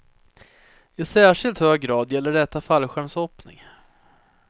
I särskilt hög grad gäller detta fallskärmshoppning.